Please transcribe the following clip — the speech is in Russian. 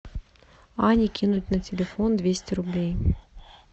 ане кинуть на телефон двести рублей